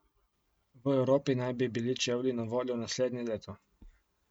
V Evropi naj bi bili čevlji na voljo naslednje leto.